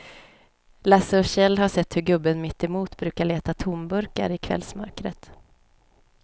Lasse och Kjell har sett hur gubben mittemot brukar leta tomburkar i kvällsmörkret.